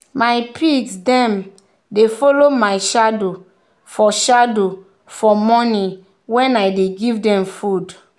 my pigs them dey follow my shadow for shadow for morning when i dey give them food.